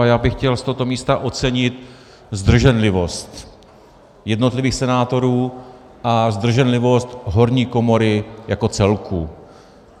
A já bych chtěl z tohoto místa ocenit zdrženlivost jednotlivých senátorů a zdrženlivost horní komory jako celku.